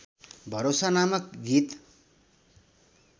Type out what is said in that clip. भरोसा नामक गीत